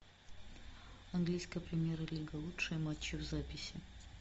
английская премьер лига лучшие матчи в записи